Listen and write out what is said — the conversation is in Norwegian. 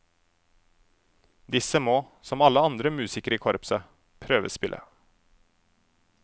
Disse må, som alle andre musikere i korpset, prøvespille.